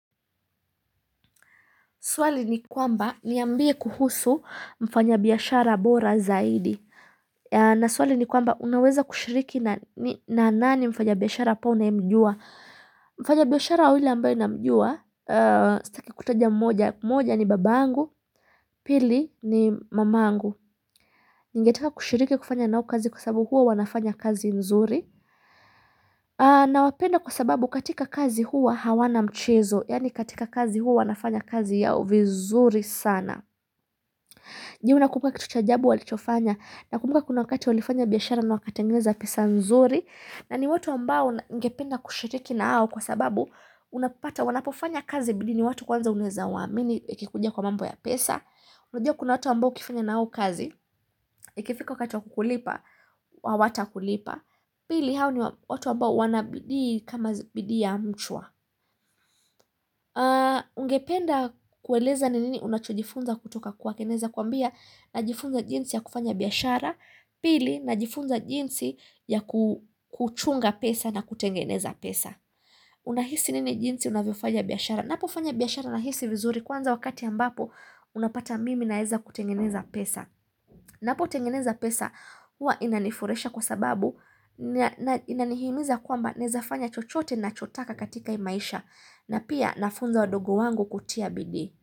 Swali ni kwamba niambie kuhusu mfanyabiashara bora zaidi na swali ni kwamba unaweza kushiriki na nani mfanyabiashara ambaye unayemjua Mfanyabiashara yule ambaye namjua Sitaki kutaja mmoja, mmoja ni baba yangu, pili ni mama yangu Ningetaka kushiriki kufanya nao kazi kwa sababu huwa wanafanya kazi nzuri Nawapenda kwa sababu katika kazi huwa hawana mchezo Yaani katika kazi huwa wanafanya kazi yao vizuri sana Je unakumbuka kitu cha ajabu walichofanya nakumbuka kuna wakati walifanya biashara na wakatengeza pesa nzuri na ni watu ambao ningependa kushiriki nao au kwa sababu unapapata wanapofanya kazi bili ni watu kwanza unawezaa waamini ikikuja kwa mambo ya pesa, unajua kuna watu ambao ukifanya nao kazi, ikifika wakati wakukulipa, hawatakulipa, pili hao niwa watu ambao wanabidii kama bidii ya mchwa. Ungependa kueleza nini unachojifunza kutoka kwake naezakwambia Najifunza jinsi ya kufanya biashara Pili najifunza jinsi ya kuu kuchunga pesa na kutengeneza pesa Unahisi nini jinsi unavyofaja biashara Napofanya biashara nahisi vizuri kwanza wakati ambapo Unapata mimi naeza kutengeneza pesa Napotengeneza pesa hua inanifurahisha kwa sababu Inanihimiza kwamba naezafanya chochote nacho taka katika hii maisha Napia nafunza wadogo wangu kutia bidii.